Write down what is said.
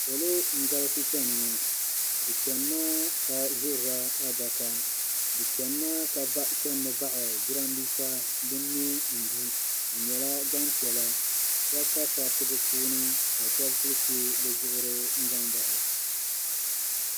Salo n-gali chani ŋɔ bɛ chani maa ka ʒirila adaka bɛ chani maa ka chanimi baɣi jiranbiisa din me n-du bɛ nyɛla gbampiɛla shɛba pa sariti bɛpuuni ka shɛba kuli che bɛzuɣuri n-zaŋ bahi